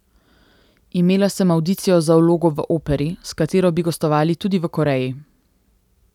Imela sem avdicijo za vlogo v operi, s katero bi gostovali tudi v Koreji.